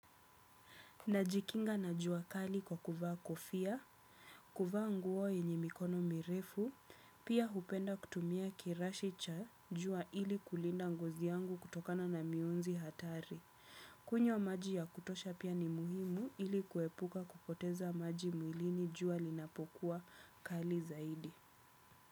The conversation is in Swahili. Najikinga na jua kali kwa kuvaa kofia, kuvaa nguo yenye mikono mirefu, pia hupenda kutumia kirashi cha jua ili kulinda ngozi yangu kutokana na mionzi hatari. Kunywa maji ya kutosha pia ni muhimu ili kuepuka kupoteza maji mwilini jua linapokuwa kali zaidi.